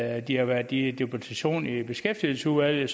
at de har været i deputation i beskæftigelsesudvalget